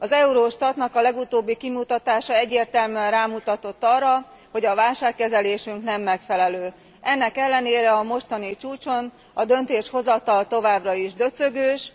Az Eurostat legutóbbi kimutatása egyértelműen rámutatott arra, hogy válságkezelésünk nem megfelelő. Ennek ellenére a mostani csúcson a döntéshozatal továbbra is döcögős.